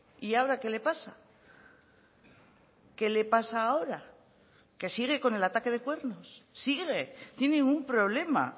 y ahora qué le pasa qué le pasa ahora que sigue con el ataque de cuernos sigue tiene un problema